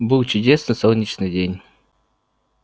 был чудесный солнечный день